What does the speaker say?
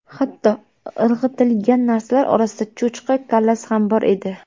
Hatto irg‘itilgan narsalar orasida cho‘chqa kallasi ham bor edi.